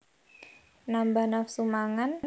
Nambah nafsu mangan